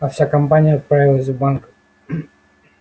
а вся компания отправилась в банк